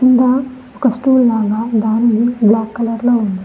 కింద ఒక స్టూల్ లాగా దాంది బ్లాక్ కలర్ లో ఉంది.